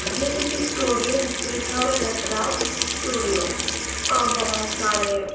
ये एक स्टूडियो जिस पे लिखा हुआ नटराज स्टूडियो और बहुत सारे--